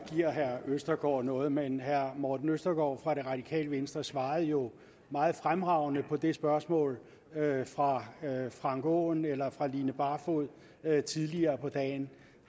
giver herre østergaard noget men herre morten østergaard fra det radikale venstre svarede jo meget fremragende på det spørgsmål fra herre frank aaen eller fra fru line barfod tidligere på dagen